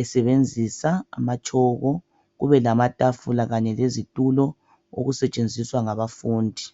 esebenzisa abatshoko kube lamatafula kanye lezitulo okusetshenziswa ngabafundi